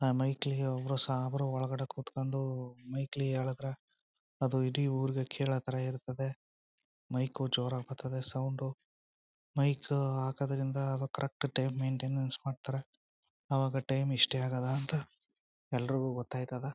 ಆ ಮೈಕ್ಲಿ ಒಬರು ಸಾಬರು ಒಳಗಡೆ ಕುತ್ಕೊಂಡು ಮೈಕ್ಲಿ ಹೇಳದ್ರೆ ಅದು ಇಡೀ ಊರಿಗೆ ಕೇಳೋತರ ಇರ್ತದೆ ಮೈಕ್ ಜೋರಾಗಿ ಬರ್ತದ .ಸೌಂಡ್ ಮೈಕ್ ಹಾಕೋದ್ರಿಂದ ಅದು ಕರೆಕ್ಟ್ ಟೈಮ್ ಮೈಂಟೆನನ್ಸ್ ಮಾಡ್ತಾರೆ. ಅವಾಗ ಟೈಮ್ ಇಷ್ಟೇ ಅಗೆದ ಅಂತ ಎಲ್ಲರಿಗೂ ಗೊತ್ತಾಯ್ತದ.